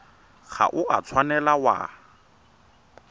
ga o a tshwanela wa